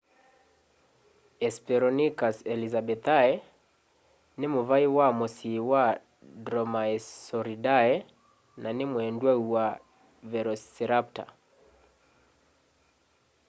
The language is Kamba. hesperonychus elizabethae nĩ mũvaĩ wa mũsyĩ wa dromaeosauridae na nĩ mwendwau wa velociraptor